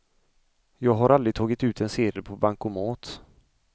Jag har aldrig tagit ut en sedel på bankomat.